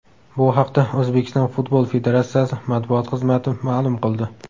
Bu haqda O‘zbekiston Futbol federatsiyasi matbuot xizmati ma’lum qildi .